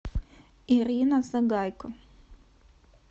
ирина сагайко